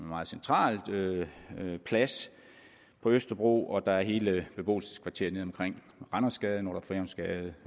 meget central plads på østerbro og der er hele beboelseskvarteret nede omkring randersgade nordre frihavnsgade